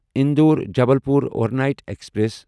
Indore Jabalpur overnight express